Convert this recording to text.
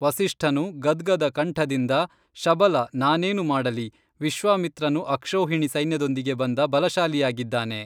ವಸಿಷ್ಠನು ಗದ್ಗದ ಕಂಠದಿಂದ ಶಬಲ ನಾನೇನು ಮಾಡಲಿ ವಿಶ್ವಾಮಿತ್ರನು ಅಕ್ಷೋಹಿಣಿ ಸೈನ್ಯದೊಂದಿಗೆ ಬಂದ ಬಲಶಾಲಿಯಾಗಿದ್ದಾನೆ